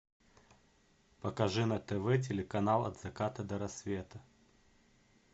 покажи на тв телеканал от заката до рассвета